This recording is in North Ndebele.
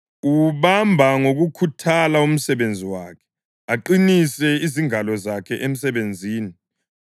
Uwubamba ngokukhuthala umsebenzi wakhe; aqinise izingalo zakhe emsebenzini.